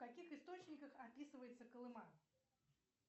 в каких источниках описывается колыма